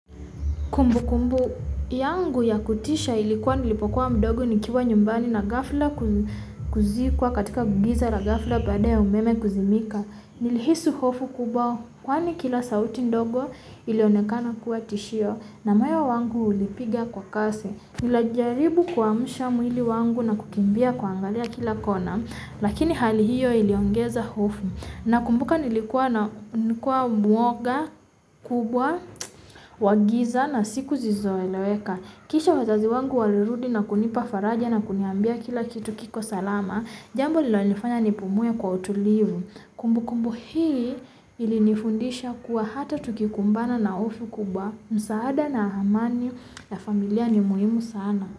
Kumbukumbu yangu ya kutisha ilikuwa nilipokuwa mdogo nikiwa nyumbani na ghafla kuzikwa katika giza la ghafla baada ya umeme kuzimika. Nilihisi hofu kubwa. Kwani kila sauti ndogo ilionekana kuwa tishio, na moyo wangu ulipiga kwa kasi. Nilijaribu kuamsha mwili wangu na kukimbia kuangalia kila kona. Lakini hali hiyo iliongeza hofu. Nakumbuka nilikuwa mwoga kubwa. Wa giza na siku zisizoeleweka. Kisha wazazi wangu walirudi na kunipa faraja na kuniambia kila kitu kiko salama. Jambo linalonifanya nipumue kwa utulivu. Kumbukumbu hii ilinifundisha kuwa hata tukikumbana na hofu kubwa. Msaada na amani. Ya familia ni muhimu sana.